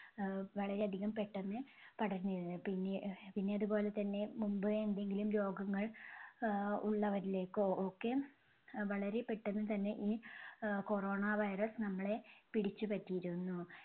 ആഹ് വളരെ അധികം പെട്ടന്ന് പടർന്നിരുന്നത്. പിന്നെ പിന്നെ അതുപോലെതന്നെ മുൻപേ എന്തെങ്കിലും രോഗങ്ങൾ ആഹ് ഉള്ളവരിലേക്കോ ഒക്കെ അഹ് വളരെ പെട്ടന്നുതന്നെ ഈ ആഹ് corona virus നമ്മളെ പിടിച്ചുപറ്റിയിരുന്നു.